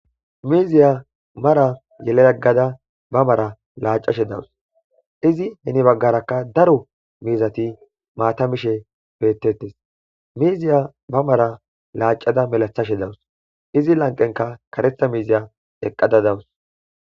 miiziya mara yelayeggada ba mara laacashe dawus izi heni baggarakka daro miizati maata mishe beettettes miiziya ba mara laacada melathashe dawus izi lanqenka karetha miiziya eqqada dawus